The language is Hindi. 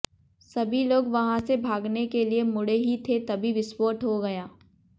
सभी लोग वहां से भागने के लिये मुडे़ ही थे तभी विस्फोट हो गया